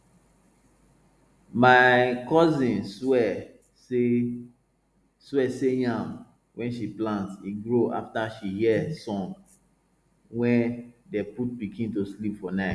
my cousin swear say swear say yam wey she plant e grow after she hear song wey dey put pikin to sleep for night